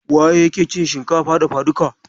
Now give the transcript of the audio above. Waye yake cin shinkafa dafaduka?